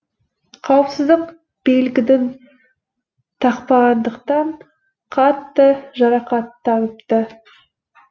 қауіпсіздік белдігін тақпағандықтан қатты жарақаттаныпты